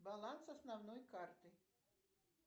баланс основной карты